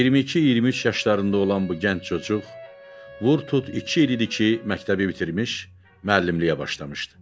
22-23 yaşlarında olan bu gənc çocuq vur tut iki il idi ki, məktəbi bitirmiş, müəllimliyə başlamışdı.